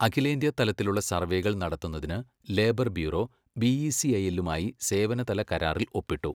അഖിലേന്ത്യ തലത്തിലുള്ള സർവേകൾ നടത്തുന്നതിന് ലേബർ ബ്യൂറോ ബിഇസിഐല്ലുമായി സേവനതല കരാറിൽ ഒപ്പിട്ടു.